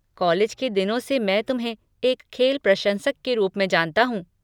College के दिनों से मैं तुम्हें एक खेल प्रशंसक के रूप में जानता हूँ।